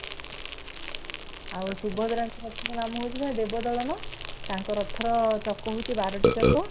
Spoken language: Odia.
ଆଉ ସୁଭଦ୍ରାଙ୍କ ରଥ ର ନାମ ହୌଛି ଦେବ ଦଳନ ତାଙ୍କ ରଥ ର ଚକ ହୋଉଛି ବାର ଟି ଚକ